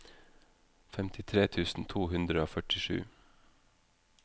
femtitre tusen to hundre og førtisju